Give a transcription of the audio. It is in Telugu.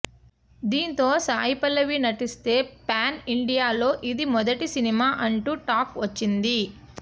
దీంతో సాయి పల్లవి నటిస్తే ప్యాన్ ఇండియా లో ఇది మొదటి సినిమా అంటూ టాక్ వచ్చింది